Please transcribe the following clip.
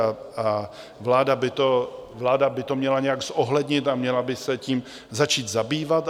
A vláda by to měla nějak zohlednit a měla by se tím začít zabývat.